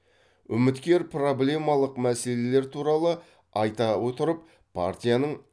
үміткер проблемалық мәселелер туралы айта отырып партияның